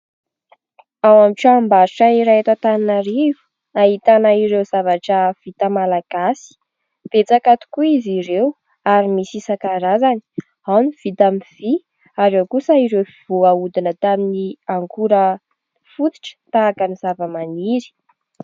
Ao amin'n y tranombarotra iray eto Antananarivo, ahitana ireo zavatra vita malagasy. Betsaka tokoa izy ireo ary misy isan-karazany : ao ny vita amin'ny vy ary ao kosa ireo voahodina tamin'ny akora fototra tahaka ny zava-maniry.